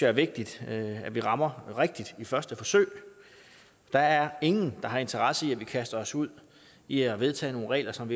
er vigtigt at vi rammer rigtigt i første forsøg der er ingen der har interesse i at vi kaster os ud i at vedtage nogle regler som